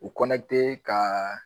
U ka